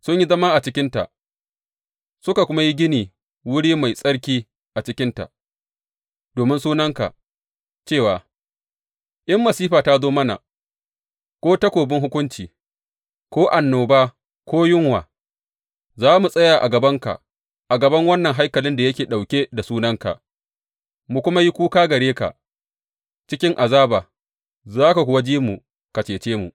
Sun yi zama a cikinta suka kuma yi gina wuri mai tsarki a cikinta domin Sunanka cewa, In masifa ta zo mana, ko takobin hukunci, ko annoba ko yunwa, za mu tsaya a gabanka a gaban wannan haikalin da yake ɗauke da Sunanka, mu kuma yi kuka gare ka cikin azaba, za ka kuwa ji mu, ka cece mu.’